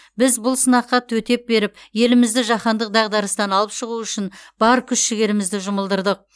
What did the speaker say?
біз бұл сынаққа төтеп беріп елімізді жаһандық дағдарыстан алып шығу үшін бар күш жігерімізді жұмылдырдық